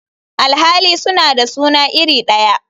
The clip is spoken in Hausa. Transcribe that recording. Alhali suna da suna iri daya.